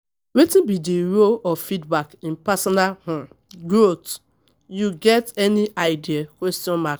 Wetin be di role of feedback in personal um growth, you get any idea?